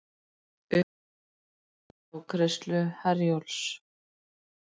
Uppsagnir á afgreiðslu Herjólfs